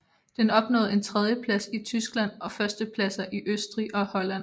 Den opnåede en tredjeplads i Tyskland og førstepladser i Østrig og Holland